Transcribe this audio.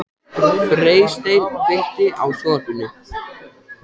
Freysteinn, kveiktu á sjónvarpinu.